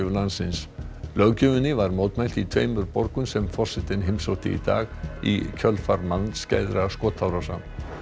landsins löggjöfinni var mótmælt í tveimur borgum sem forsetinn heimsótti í dag í kjölfar skotárása